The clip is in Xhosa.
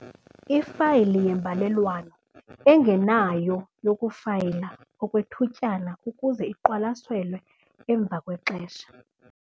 Ifayili yembalelwano ENGENAYO yokufayila okwethutyana ukuze iqwalaselwe emva kwexesha.